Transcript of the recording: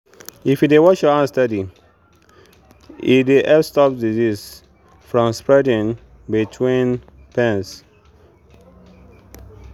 if you dey wash your hands steady e dey help stop disease from spreading between pens.